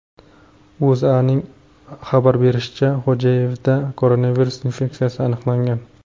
O‘zA’ning xabar berishicha , Xo‘jayevda koronavirus infeksiyasi aniqlangan.